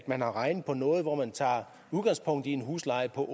man har regnet på noget hvor man tager udgangspunkt i en husleje på